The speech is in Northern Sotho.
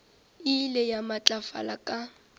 e ile ya matlafala ka